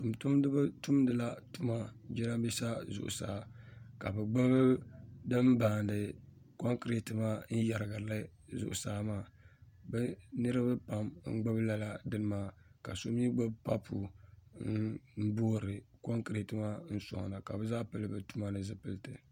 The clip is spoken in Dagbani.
Tuntumdi ba tumdila bɛ tuma jerambisa zuɣu saa ka bɛ gbubi din baandi concreti maa n yerigirli zuɣ' saa maa bɛ niriba pam n gbubi lala dini maa ka so mi gbubi papu n boori concreti maa n soŋda ka bɛ zaa pili bɛ tuma zipilti.